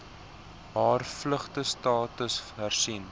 haar vlugtelingstatus hersien